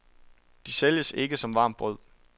De sælges ikke som varmt brød.